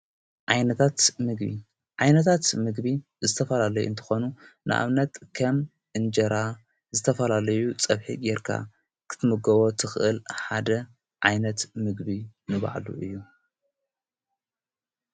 ዓይነታት ምግቢ ዝተፋላለዩ እንተኾኑ ንኣብነት ከም እንጀራ ዝተፈላለዩ ጸብሒት ይርካብ ኽትምጐቦ ትኽእል ሓደ ዓይነት ምግቢ ንባዕሉ እዩ።